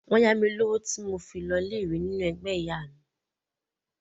Wọ́n yá mi lówó tí mo fi lọ ilé ìwé nínú ẹgbẹ́ tí màmá mi wà.